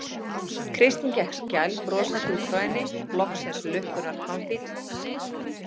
Kristín gekk skælbrosandi út frá henni, loksins lukkunnar pamfíll.